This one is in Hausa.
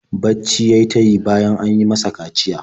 Bacci ya yi ta yi bayan an yi masa kaciya.